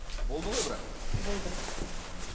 болды ғой бірақ болды ммм